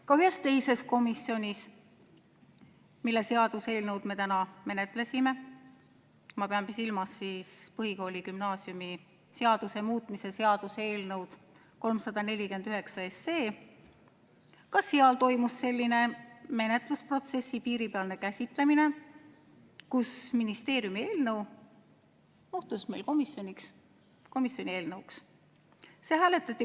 Ka ühes teises komisjonis, mille seaduseelnõu me täna menetlesime – ma pean silmas põhikooli- ja gümnaasiumiseaduse muutmise seaduse eelnõu –, ka seal toimus selline menetlusprotsessi piiripealne käsitlemine, kus ministeeriumi eelnõu muutus meil komisjonis komisjoni eelnõuks.